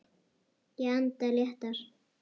Ég anda léttar.